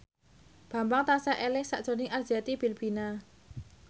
Bambang tansah eling sakjroning Arzetti Bilbina